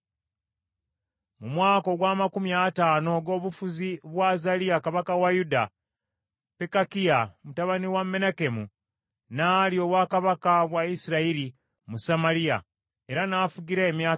Mu mwaka ogw’amakumi ataano ogw’obufuzi bwa Azaliya kabaka wa Yuda, Pekakiya mutabani wa Menakemu n’alya obwakabaka bwa Isirayiri mu Samaliya, era n’afugira emyaka ebiri.